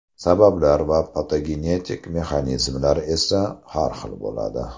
Sabablar va patogenetik mexanizmlar esa har xil bo‘ladi.